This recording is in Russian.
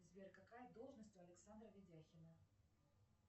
сбер какая должность у александра видяхина